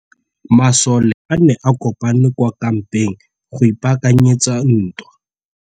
Masole a ne a kopane kwa kampeng go ipaakanyetsa ntwa.